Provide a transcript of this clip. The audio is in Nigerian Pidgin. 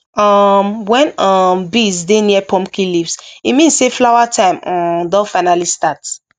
um when um bees dey near pumpkin leaves e mean say flower time um don fully start